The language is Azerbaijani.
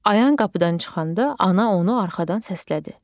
Ayan qapıdan çıxanda ana onu arxadan səslədi.